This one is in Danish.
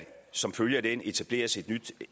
som følge af den etableres et nyt